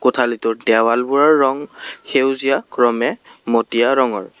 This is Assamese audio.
কোঠালীটোৰ দেৱালবোৰৰ ৰং সেউজীয়া ক্ৰমে মটীয়া ৰঙৰ।